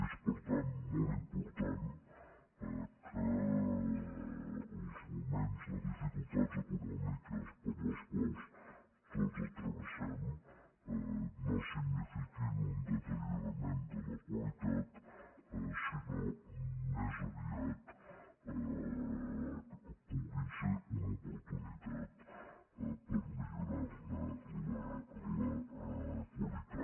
és per tant molt important que els moments de dificultats econòmiques per les quals tots travessem no signifiquin un deteriorament de la qualitat sinó que més aviat puguin ser una oportunitat per millorar ne la qualitat